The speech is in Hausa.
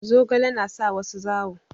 Zogale na sa wasu zawo.